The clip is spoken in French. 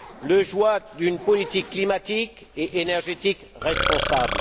et celui d'une politique climatique et énergétique responsable.